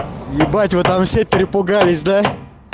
ебать вы там все перепугались да